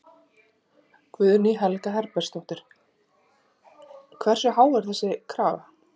Guðný Helga Herbertsdóttir: Hversu há er þessi krafa?